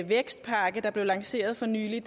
vækstpakke der blev lanceret for nylig